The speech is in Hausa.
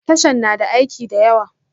Tashan na da aiki da yawa